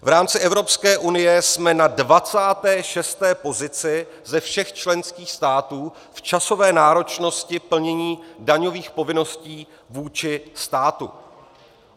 V rámci Evropské unie jsme na 26. pozici ze všech členských států v časové náročnosti plnění daňových povinností vůči státu.